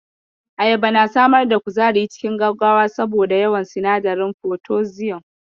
Ayaba na samar da kuzari cikin gaggawa saboda yawan sinadarin potassium.